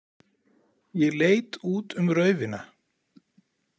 Ég leit út um raufina.